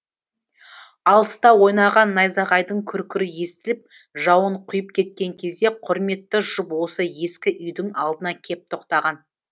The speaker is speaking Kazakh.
алыста ойнаған найзағайдың күркірі естіліп жауын құйып кеткен кезде құрметті жұп осы ескі үйдің алдына кеп тоқтаған